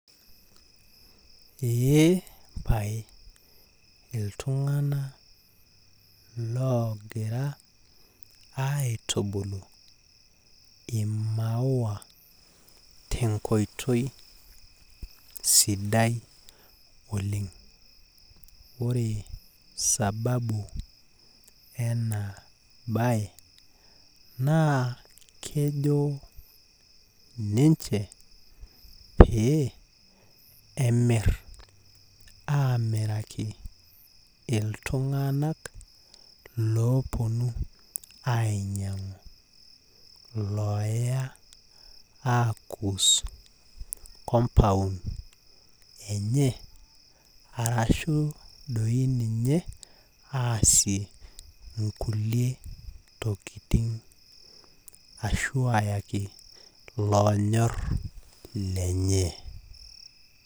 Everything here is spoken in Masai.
Eepae iltunganak logira aitubulu imaua tenkoitoi sidai oleng. ore sababu ena bae naa kejo ninche pee emir amiraki iltunganak loponu ainyiangu , loya akus compound enye , arashu doi ninye aasie nkunyie tokitin ashu ayaki iloonyor lenye .